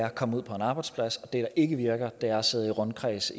at komme ud på en arbejdsplads og der ikke virker er det at sidde i rundkreds